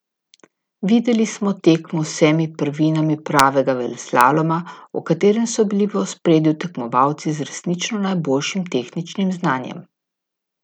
Videli smo tekmo z vsemi prvinami pravega veleslaloma, v katerem so bili v ospredju tekmovalci z resnično najboljšim tehničnim znanjem.